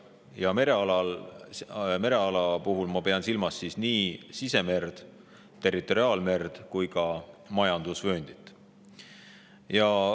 Ja mereala all ma pean silmas nii sisemerd, territoriaalmerd kui ka majandusvööndit.